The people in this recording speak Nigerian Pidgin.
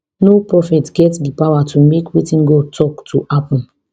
no prophet get di power to make wetin god tok to happun